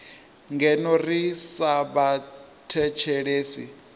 ngeno ri sa vha thethelesi